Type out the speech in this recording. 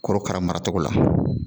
Korokara mara cogo la